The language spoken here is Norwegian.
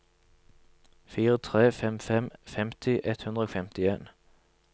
fire tre fem fem femti ett hundre og femtien